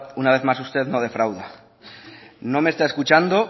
una vez más usted no defrauda no me está escuchando